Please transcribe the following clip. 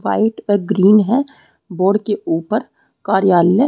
white और green है board के ऊपर कार्यालय --